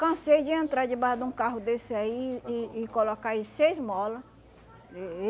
Cansei de entrar debaixo de um carro desse aí e e colocar aí seis molas. Eh eh